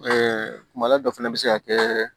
kumala dɔ fana bɛ se ka kɛ